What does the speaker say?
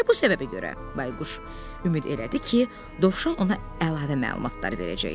Elə bu səbəbə görə Bayquş ümid elədi ki, Dovşan ona əlavə məlumatlar verəcək.